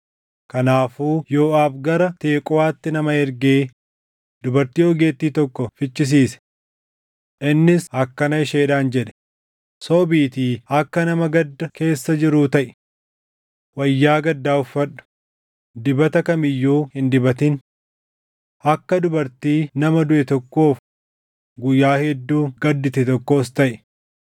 Kanaafuu Yooʼaab gara Teqooʼaatti nama ergee dubartii ogeettii tokko fichisiise. Innis akkana isheedhaan jedhe; “Sobiitii akka nama gadda keessa jiruu taʼi. Wayyaa gaddaa uffadhu; dibata kam iyyuu hin dibatin. Akka dubartii nama duʼe tokkoof guyyaa hedduu gaddite tokkoos taʼi.